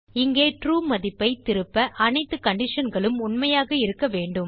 இங்கே ட்ரூ மதிப்பைத் திருப்ப அனைத்து conditionகளும் உண்மையாக இருக்க வேண்டும்